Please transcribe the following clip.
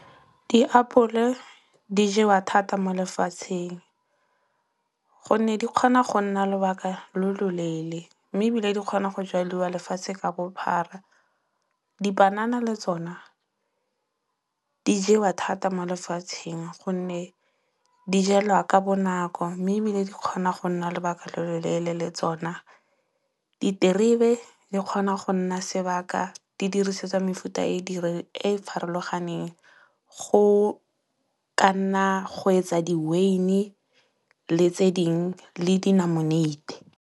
Diapole di jewa thata mo lefatsheng. Gonne di kgona go nna lobaka lo lo leele. Mme ebile di kgona go jaliwa lefatshe ka bophara. Dipanana le tsona di jewa thata mo lefatsheng gonne di jelwa ka bonako mme ebile di kgona go nna lobaka lo lo leele le tsona. Diterebe di kgona go nna sebaka di dirisetswa mefuta e e farologaneng. Go ka nna go etsa di-wyn-e le tse dingwe le dinamoneite.